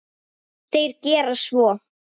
Þeir gera svo.